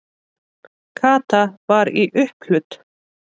Kata var í upphlut.